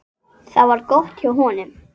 En ég redda mér.